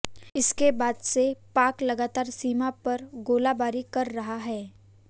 इसके बाद से पाक लगातार सीमा पर गोलाबारी कर रहा है